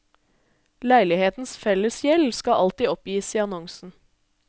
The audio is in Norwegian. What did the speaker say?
Leilighetens fellesgjeld skal alltid oppgis i annonsen.